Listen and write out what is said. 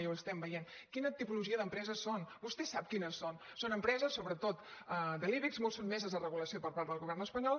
i ho estem veient quina tipologia d’empreses són vostè sap quines són són empreses sobretot de l’ibex molt sotmeses a regulació per part del govern espanyol